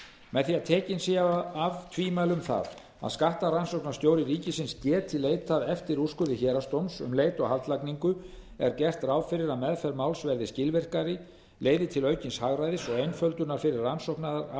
með því að tekin séu af tvímæli um það að skattrannsóknarstjóri ríkisins geti leitað eftir úrskurði héraðsdóms um leit og haldlagningu er gert ráð fyrir að meðferð máls verði skilvirkari leiði til aukins hagræðis og einföldunar fyrir rannsóknaraðila